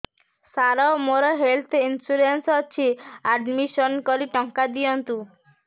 ସାର ମୋର health insurance ଅଛି admission କରି ଟଙ୍କା ଦିଅନ୍ତୁ